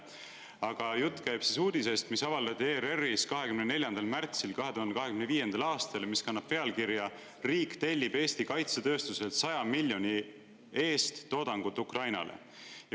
Aga jutt käib uudisest, mis avaldati ERR-is 24. märtsil 2025. aastal ja mis kannab pealkirja "Riik tellib Eesti kaitsetööstuselt 100 miljoni eest toodangut Ukrainale".